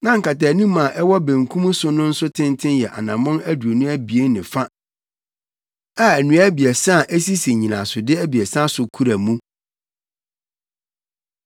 na nkataanim a ɛwɔ benkum so no nso tenten yɛ anammɔn aduonu abien ne fa a nnua abiɛsa a esisi nnyinasode abiɛsa so kura mu.